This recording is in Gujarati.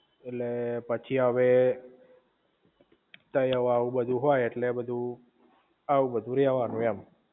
ઍટલે પછી હવે તય આવું બધુ હોય ઍટલે બધુ આવું રેહવાનું